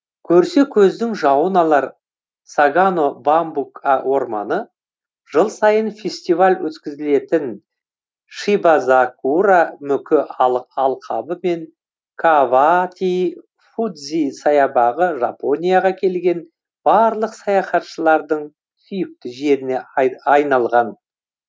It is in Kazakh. көрсе көздің жауын алар сагано бамбук орманы жыл сайын фестиваль өткізілетін шибазакура мүкі алқабы мен кавааати фудзи саябағы жапонияға келген барлық саяхатшылардың сүйікті жеріне айналған